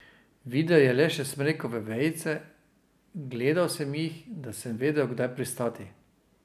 Videl je le še smrekove vejice: "Gledal sem jih, da sem vedel, kdaj pristati.